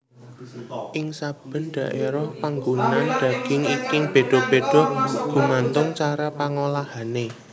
Ing saben daerah panggunaan daging iki béda béda gumantung cara pangolahané